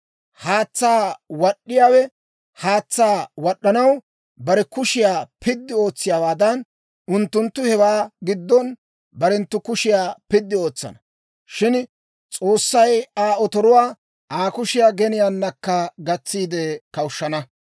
Haatsaa wad'd'iyaawe haatsaa wad'd'anaw bare kushiyaa piddi ootsiyaawaadan, unttunttu hewaa giddon barenttu kushiyaa piddi ootsana. Shin S'oossay Aa otoruwaa Aa kushiyaa geniyaanakka gatsiide kawushshana.